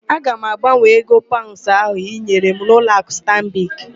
Aga m agbanwee ego paụnds ahụ ị nyere m n'ụlọakụ Stanbik.